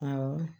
Awɔ